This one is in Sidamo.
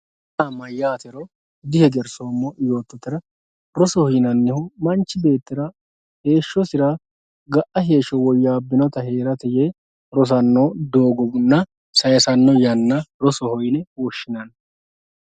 rosoho yaa mayaatero dihegersoomo yottohura rosoho yaa manch beettira heeshosira ga"a heeshsho woyaabinota heerate yee hosanno doogonna sayiisanno yanna rosoho yine woshshinanni.